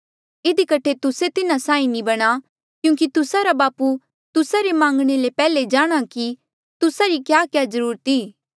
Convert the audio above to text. इधी कठे तुस्से तिन्हा साहीं नी बणां क्यूंकि तुस्सा रा बापू तुस्सा रे मांगणे ले पैहले जाणहां कि तुस्सा री क्याक्या ज्रूरत ई